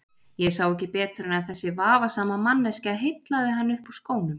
Ég sá ekki betur en að þessi vafasama manneskja heillaði hann upp úr skónum.